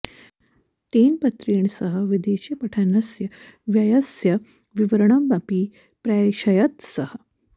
तेन पत्रेण सह विदेशे पठनस्य व्ययस्य विवरणमपि प्रैषयत् सः